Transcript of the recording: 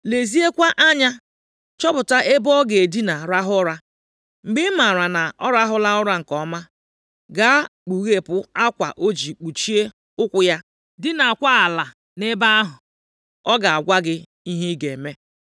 Leziekwa anya chọpụta ebe ọ ga-edina rahụ ụra. Mgbe ị maara na ọ rahụla ụra nke ọma, gaa kpughepụ akwa o ji kpuchie ụkwụ ya, dinaakwa ala nʼebe ahụ. Ọ ga-agwa gị ihe ị ga-eme.”